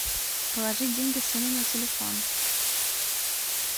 положить деньги сыну на телефон